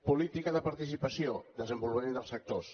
política de participació desenvolupament dels sectors